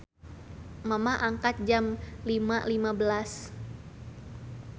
Mamah angkat Jam 05.15